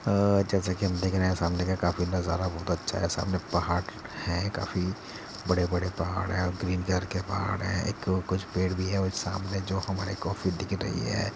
अ जैसा कि हम देख रहे हैं सामने का काफी नज़ारा बोहोत अच्छा है। सामने पहाड़ हैं। काफ़ी बड़े-बड़े पहाड़ हैं। ग्रीन कलर के पहाड़ हैं। एक कुछ पेड़ भी है और सामने जो हमारे कॉफ़ी दिख रही है।